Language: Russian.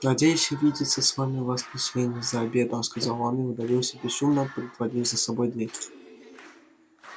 надеюсь увидеться с вами в воскресенье за обедом сказал он и удалился бесшумно притворив за собой дверь